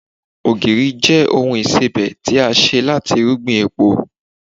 ogiri je oun isebẹ ti a se lati irúgbìn epo